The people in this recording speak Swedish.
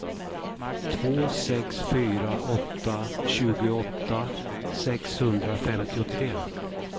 två sex fyra åtta tjugoåtta sexhundrafemtiotre